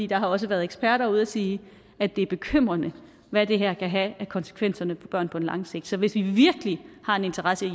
der har også været eksperter ude og sige at det er bekymrende hvad det her kan have af konsekvenser for børn på langt sigt så hvis vi virkelig har en interesse i